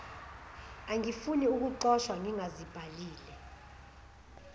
angifuni ukuxoshwa ngingazibhalile